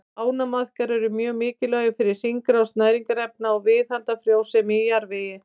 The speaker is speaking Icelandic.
Ánamaðkar eru mjög mikilvægir fyrir hringrás næringarefna og viðhald frjósemi í jarðvegi.